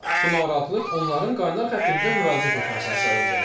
Bu narahatlıq onların qaynar xəttimizə müraciət etməsinə səbəb olub.